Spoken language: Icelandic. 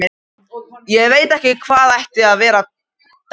Ég veit ekki hvað það ætti að vera- dæsti